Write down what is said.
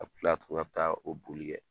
A bɛ kila tugun a bɛ taa o boli kɛ.